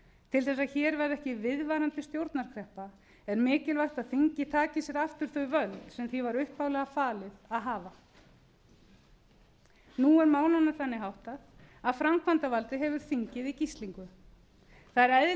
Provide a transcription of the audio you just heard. til þess að hér verði ekki viðvarandi stjórnarkreppa er mikilvægt að þingið taki sér aftur þau völd sem því var upphaflega falið að hafa nú er málunum þannig háttað að framkvæmdarvaldið hefur þingið í gíslingu það er eðlilegt